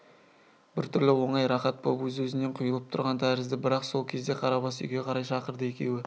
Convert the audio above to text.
біртүрлі оңай рахат боп өз-өзінен құйылып тұрған тәрізді бірақ сол кезде қарабас үйге қарай шақырды екеуі